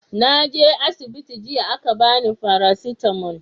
naje asibiti jiya a ka bani farasitamo